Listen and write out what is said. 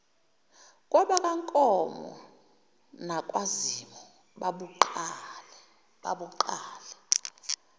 kwabakankomo nakwazimu babuqale